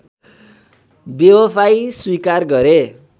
बेवफाइ स्वीकार गरे